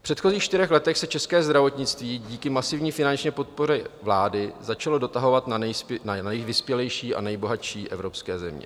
V předchozích čtyřech letech se české zdravotnictví díky masivní finanční podpoře vlády začalo dotahovat na nejvyspělejší a nejbohatší evropské země.